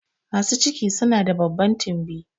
Masu ciki su na da babban tumbi